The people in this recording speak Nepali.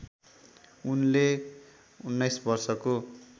उनले १९ वर्षको